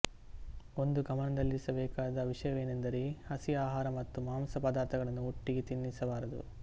ಒಂದು ಗಮನದಲ್ಲಿರಬೇಕಾದ ವಿಷಯವೇನೆಂದರೆಹಸಿ ಆಹಾರ ಮತ್ತು ಮಾಂಸ ಪದ್ಧಾರ್ಥಗಳನ್ನು ಒಟ್ಟಿಗೆ ತಿನ್ನಿಸಬಾರದು